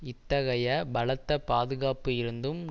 இத்தகைய பலத்த பாதுகாப்பு இருந்தும்